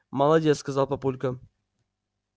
молодец сказал папулька